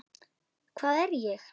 Hvað er ég?